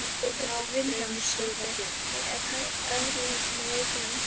Hödd Vilhjálmsdóttir: Er nægt eftirlit með veikum einstaklingum?